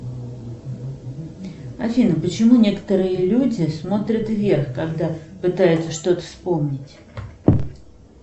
афина почему некоторые люди смотрят вверх когда пытаются что то вспомнить